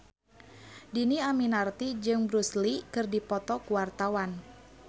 Dhini Aminarti jeung Bruce Lee keur dipoto ku wartawan